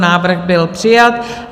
Návrh byl přijat.